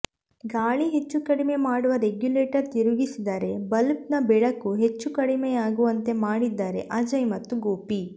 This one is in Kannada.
ಗಾಳಿ ಹೆಚ್ಚು ಕಡಿಮೆ ಮಾಡುವ ರೆಗ್ಯುಲೇಟರ್ ತಿರುಗಿಸಿದರೆ ಬಲ್ಬ್ನ ಬೆಳಕು ಹೆಚ್ಚು ಕಡಿಮೆಯಾಗುವಂತೆ ಮಾಡಿದ್ದಾರೆ ಅಜಯ್ ಮತ್ತು ಗೋಪಿ